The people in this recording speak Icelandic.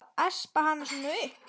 Að espa hann svona upp!